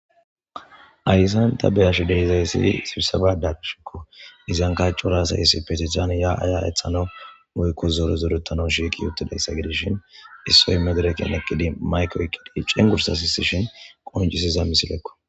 Hayssan ta beashe diza issi sibisaba beashe diza issi sibisaban diza izanika asayi coray shiqqi zoretanawu shiqidi deishin issoyi mayike oyiqqidi madireken cengursa sisishni betiza misileko